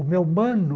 O meu mano,